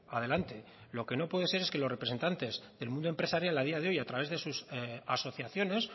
adelante lo que no puede ser es que los representantes del mundo empresarial a día de hoy a través de sus asociaciones